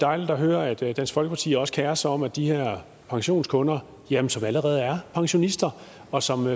dejligt at høre at dansk folkeparti også kerer sig om at de her pensionskunder som allerede er pensionister og som